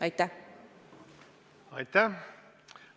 Aitäh!